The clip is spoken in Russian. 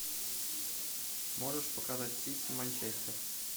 можешь показать сити манчестер